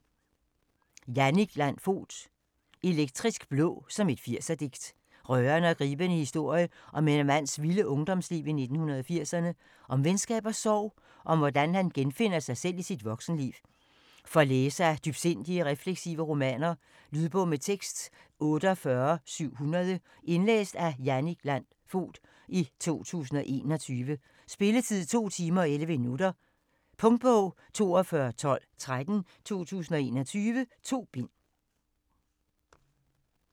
Fogt, Jannik Landt: Elektrisk blå, som et 80'er digt Rørende og gribende historie om en mands vilde ungdomsliv i 1980'erne. Om venskab og sorg, og om hvordan han genopfinder sig selv i sit voksenliv. For læsere af dybsindige og refleksive romaner. Lydbog med tekst 48700 Indlæst af Jannik Landt Fogt, 2021. Spilletid: 2 timer, 11 minutter. Punktbog 421213 2021. 2 bind.